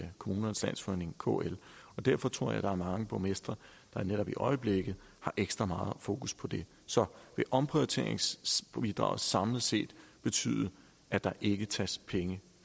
kommunernes landsforening kl og derfor tror jeg der er mange borgmestre der netop i øjeblikket har ekstra meget fokus på det så vil omprioriteringsbidraget samlet set betyde at der ikke tages penge